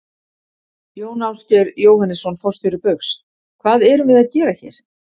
Jón Ásgeir Jóhannesson, forstjóri Baugs: Hvað erum við að gera hér?